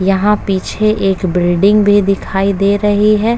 यहां पीछे एक बिल्डिंग भी दिखाई दे रही है।